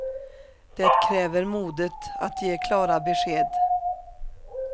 Det kräver modet att ge klara besked.